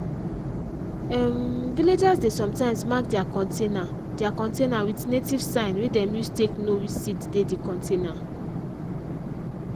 um villagers dey sometimes mark their container their container with native sign wey dem use take know which seed dey di container.